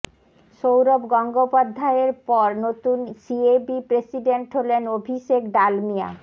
সৌরভ গঙ্গোপাধ্যায়ের পর নতুন সিএবি প্রেসিডেন্ট হলেন অভিষেক ডালমিয়া